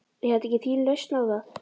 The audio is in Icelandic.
Er þetta ekki þín lausn á það?